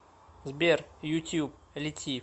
сбер ютюб лети